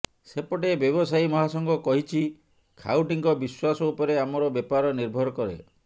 ସେପଟେ ବ୍ୟବସାୟୀ ମହାସଂଘ କହିଛି ଖାଉଟିଙ୍କ ବିଶ୍ୱାସ ଉପରେ ଆମର ବେପାର ନିର୍ଭର କରେ